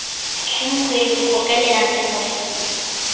umkhweli ukrokreleka njengonesifo